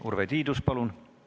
Urve Tiidus, palun!